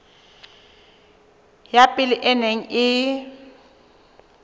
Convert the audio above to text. ya pele e neng e